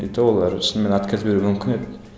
и то олар шынымен отказ беруі мүмкін еді